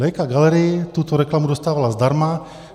Leica Gallery tuto reklamu dostávala zdarma.